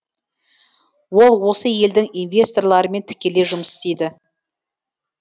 ол осы елдің инвесторларымен тікелей жұмыс істейді